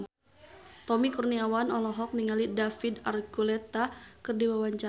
Tommy Kurniawan olohok ningali David Archuletta keur diwawancara